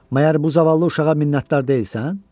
Məyər bu zavallı uşağa minnətdar deyilsən?